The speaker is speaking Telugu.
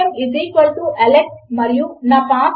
కనుక రిఫ్రెష్ చేయండి మరియు మనకు అక్కడ ఏమీ రావడము లేదు